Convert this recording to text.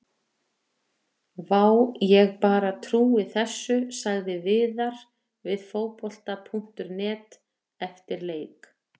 Vá, ég bara trúi þessu sagði Viðar við Fótbolta.net eftir leik.